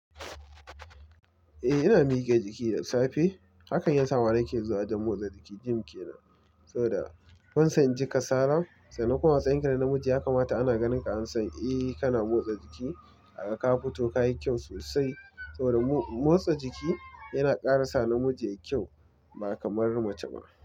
Eh ina miƙe jiki da safe, hakan yasa ma nake zuwa wajan motsa jiki gym kenan. Saboda ban san in ji kasala, sannan kuma a matsayin ka na namiji ya kamata ana ganinka an san eh kana motsa jiki aga ka fito kayi kyau sosai. Saboda motsa jiki yana ƙara sa namiji yayi kyau ba kamar mace ba.